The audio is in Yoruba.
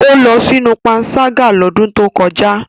O lọ sinu panṣaga lodun to koja.